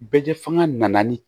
Bɛɛ fanga nana ni